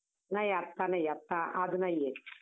अग्गायाया काय मग party कधी?